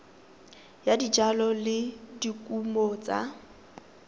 ya dijalo le dikumo tsa